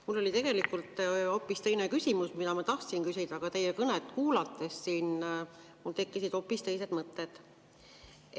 Mul oli tegelikult hoopis teine küsimus, mida ma tahtsin küsida, aga teie kõnet kuulates siin mul tekkisid hoopis teised mõtted.